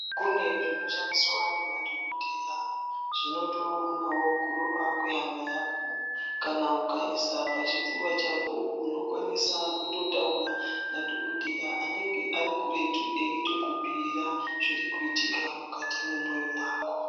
Kune zvino shandiswa ne madhokodheya zvinoto onawo kurova kwe hana yako kana ukaisa pa chipfuva chako uno kwanisa kuto taura na dhokodheya anenge ari kuretu eito kubhira zviri kuitika mukati mwe mwoyo mwako.